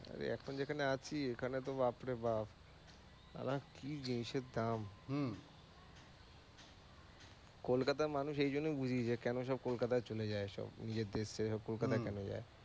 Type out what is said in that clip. এই এখন যেখানে আছি এখানে তো বাপ রে বাপ কি জিনিসের দাম কলকাতার মানুষ এই জন্যই বুঝি যে কেন কলকাতায় চলে যায় সব নিজের দেশ ছেড়ে কলকাতায় কেন যায়।